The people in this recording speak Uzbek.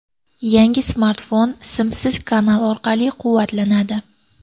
Yangi smartfon simsiz kanal orqali quvvatlanadi.